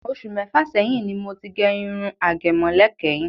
Ọṣù mẹ́fà sẹyìn ni mo ti gẹ irun àgẹ̀mọ́lẹ̀ kẹ́yìn.